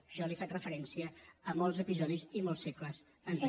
jo li faig referència de molts episodis i molts segles enrere